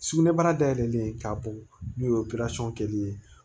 Sugunɛbara dayɛlɛlen k'a bɔ n'o ye kɛli ye